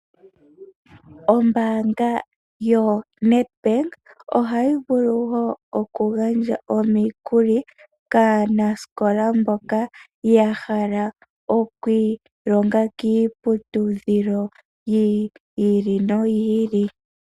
Ombaanga yo Nedbank ohayi vulu woo okugandja omikuli, kaanasikola mboka ya hala oku ilonga kiiputudhilo yi ili noyi ili.